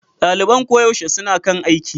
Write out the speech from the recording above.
Daliban koyaushe suna kan aiki.